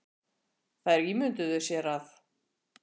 Þær ímynduðu sér að